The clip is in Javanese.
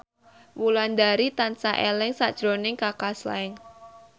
Wulandari tansah eling sakjroning Kaka Slank